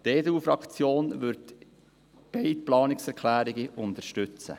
Die EDU-Fraktion wird beide Planungserklärungen unterstützen.